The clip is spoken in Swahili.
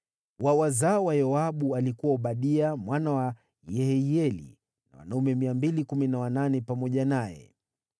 wa wazao wa Yoabu, alikuwa Obadia mwana wa Yehieli na wanaume 218 pamoja naye;